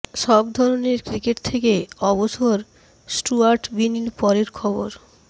সব ধরনের ক্রিকেট থেকে অবসর স্টুয়ার্ট বিনির পরের খবর